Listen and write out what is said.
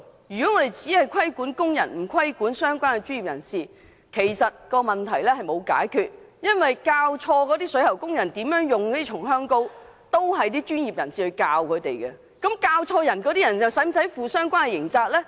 如果只規管工人而不規管相關的專業人士，其實沒有解決問題，因為錯誤教導水喉工人如何使用松香膏的是專業人士，他們又是否需要負上相關刑責呢？